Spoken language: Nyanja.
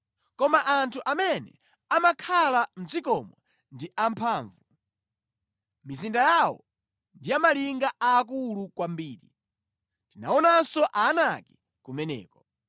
Koma anthu amene amakhala mʼdzikomo ndi amphamvu, mizinda yawo ndi ya malinga aakulu kwambiri. Tinaonanso Aanaki kumeneko.